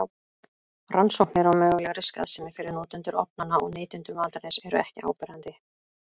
Rannsóknir á mögulegri skaðsemi fyrir notendur ofnanna og neytendur matarins eru ekki áberandi.